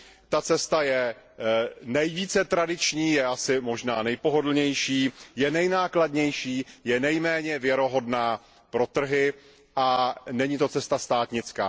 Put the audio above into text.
Ta cesta je nejvíce tradiční, je asi možná nejpohodlnější, je nejnákladnější, je nejméně věrohodná pro trhy a není to cesta státnická.